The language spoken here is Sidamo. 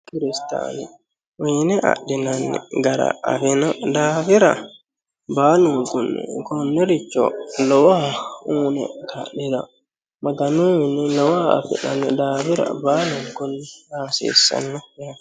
kiristaanu uyiine adhinanni gara afino daafira baalunkunni konnericho lowoha uyiine ka'niro maganu mininni lowoha afi'nanni daafira baalunkunni aa hasiissnno yaate.